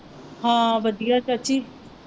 ਹਾਂ ਵਧੀਆ ਚਾਚੀ।